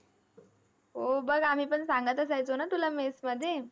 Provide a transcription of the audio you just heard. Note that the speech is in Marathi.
हो, बघ आम्ही पण सांगत असायचो ना तुला mess मध्ये